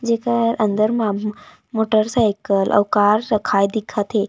जेकर अंदर मा मोटरसाइकिल अउ कार रखाय दिखत हे।